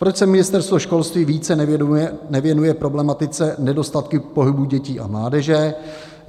Proč se ministerstvo školství více nevěnuje problematice nedostatku pohybu dětí a mládeže?